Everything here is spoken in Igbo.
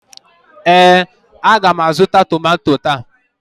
ee, a ga m azụta tomanto taa